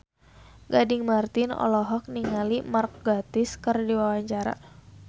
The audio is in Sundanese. Gading Marten olohok ningali Mark Gatiss keur diwawancara